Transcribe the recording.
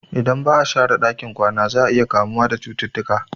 Idan ba'a share ɗakin kwana za'a iya kamuwa da cututtuka